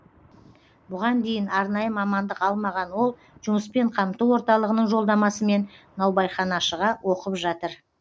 бұған дейін арнайы мамандық алмаған ол жұмыспен қамту орталығының жолдамасымен наубайханашыға оқып жатыр